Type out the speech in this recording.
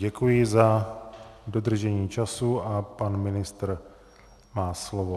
Děkuji za dodržení času a pan ministr má slovo.